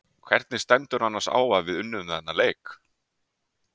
Hvernig stendur annars á að við unnum þennan leik?